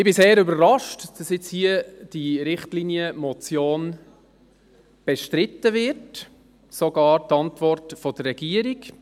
Ich bin sehr überrascht, dass jetzt diese Richtlinienmotion hier bestritten wird, sogar die Antwort der Regierung.